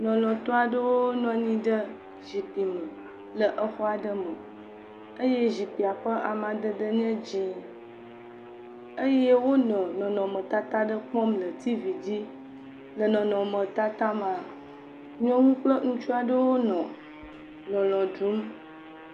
LɔLɔ̃tɔ aɖewo nɔ anyi ɖe zikpui me le xɔ aɖe me eye zikpuia ƒe amadede nye dzɛ̃, eye wonɔ nɔnɔmetata aɖe kpɔm le tivi dzi. L e nɔnɔmetata mea, nyɔnu kple ŋutsu aɖewo nɔ lɔlɔ̃ ɖum.